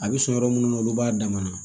A bɛ sɔn yɔrɔ minnu na olu b'a dama na